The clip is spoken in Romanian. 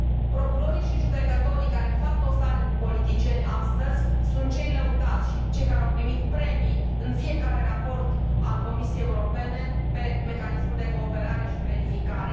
Procurorii și judecătorii care fac dosare cu politicieni astăzi sunt cei lăudați, cei care au primit premii în fiecare raport al Comisiei Europene privind Mecanismul de Cooperare și Verificare.